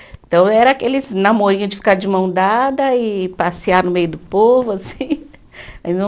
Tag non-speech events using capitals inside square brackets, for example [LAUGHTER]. Então era aqueles namorinho de ficar de mão dada e passear no meio do povo, assim. [LAUGHS] [UNINTELLIGIBLE]